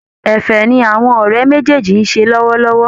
Ẹ̀fẹ̀ ni àwọn ọ̀rẹ́ méjèèjì ń ṣe lọ́wọ́lọ́wọ́